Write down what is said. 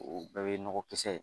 O bɛɛ ye nɔgɔ kisɛ ye